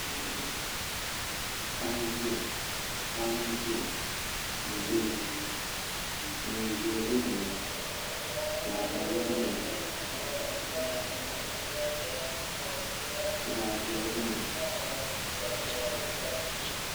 Paɣaba n ʒiya ni doo neen ʒiɛ bɛ dinni zaɣ kara gba biɛni zaɣ viɛla biɛni